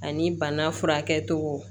Ani bana furakɛcogo